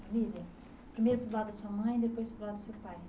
Família, primeiro do lado da sua mãe e depois para o lado do seu pai.